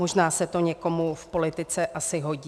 Možná se to někomu v politice asi hodí.